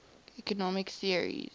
economic theories